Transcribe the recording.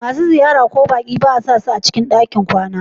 Masu ziyara ko baƙi ba a sasu cikin ɗakin kwana.